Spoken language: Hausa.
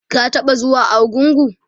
ka taɓa zuwa argungu?